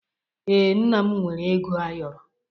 Ee, nna m nwere ego ayoro